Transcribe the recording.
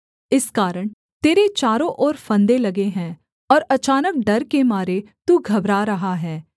इस कारण तेरे चारों ओर फंदे लगे हैं और अचानक डर के मारे तू घबरा रहा है